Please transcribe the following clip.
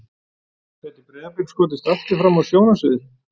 Gæti Breiðablik skotist aftur fram á sjónarsviðið?